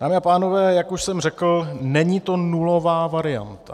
Dámy a pánové, jak už jsem řekl, není to nulová varianta.